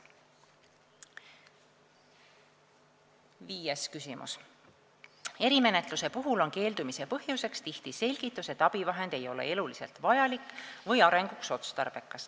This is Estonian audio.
Viies küsimus: "Erimenetluse puhul on keeldumise põhjuseks tihti selgitus, et abivahend ei ole eluliselt vajalik või arenguks otstarbekas.